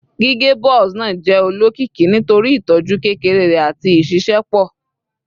Gige Buzz naa jẹ olokiki nitori itọju kekere rẹ ati iṣiṣẹpọ